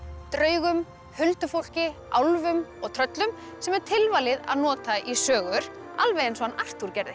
draugum huldufólki álfum og tröllum sem er tilvalið að nota í sögur alveg eins og Arthúr gerði